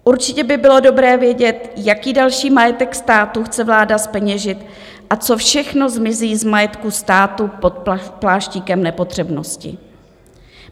Určitě by bylo dobré vědět, jaký další majetek státu chce vláda zpeněžit a co všechno zmizí z majetku státu pod pláštíkem nepotřebnosti.